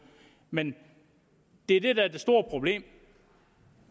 men det er det der er det store problem